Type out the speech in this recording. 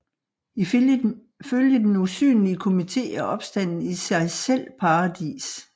Ifølge den usynlige komité er opstanden i sig selv paradis